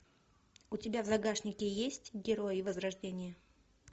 у тебя в загашнике есть герои возрождения